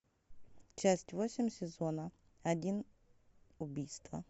часть восемь сезона один убийство